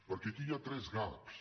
perquè aquí hi ha tres gaps